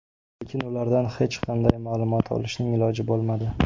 Lekin ulardan hech qanday ma’lumot olishning iloji bo‘lmadi.